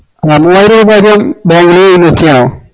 നമ്മളൊരു bank ഇൽ invest ചെയ്യണോ